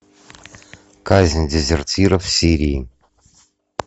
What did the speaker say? казнь дезертиров в сирии